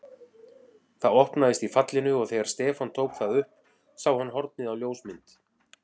Það opnaðist í fallinu og þegar Stefán tók það upp sá hann hornið á ljósmynd.